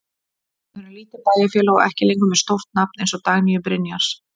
Við erum lítið bæjarfélag og ekki lengur með stórt nafn eins og Dagnýju Brynjars.